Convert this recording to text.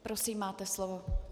Prosím, máte slovo.